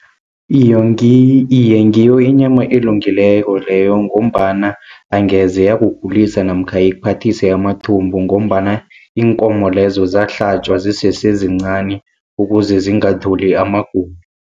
iye ngiyo inyama elungileko leyo, ngombana angeze yakugulisa namkha ikuphathise amathumbu, ngombana iinkomo lezo zahlatjwa zisesezincani ukuze zingatholi amagulo.